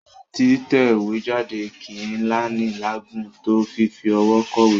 Títẹ̀wéjáde kì í náni láàágùn tó fífi ọwọ́ kọ̀wé.